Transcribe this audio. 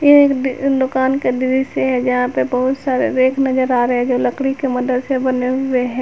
ये एक दुकान का दृश्य है जहां पे बहुत सारे रैक नजर आ रहे हैं जो लकड़ी के मदद से बने हुए हैं।